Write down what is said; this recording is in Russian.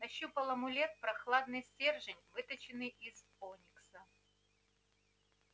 нащупал амулет прохладный стержень выточенный из оникса